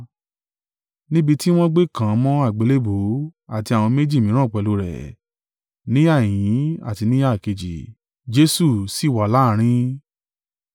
Níbi tí wọ́n gbé kàn án mọ́ àgbélébùú, àti àwọn méjì mìíràn pẹ̀lú rẹ̀, níhà ìhín àti níhà kejì, Jesu sì wà láàrín.